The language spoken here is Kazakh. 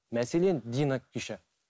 мәселен дина күйші